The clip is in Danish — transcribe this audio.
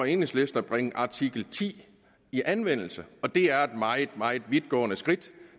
enhedslisten at bringe artikel ti i anvendelse og det er et meget meget vidtgående skridt